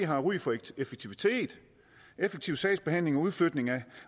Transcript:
har ry for effektivitet effektiv sagsbehandling udflytningen